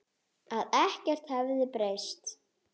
Að ekkert hefði breyst.